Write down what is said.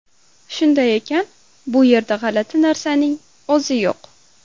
Shunday ekan, bu yerda g‘alati narsaning o‘zi yo‘q.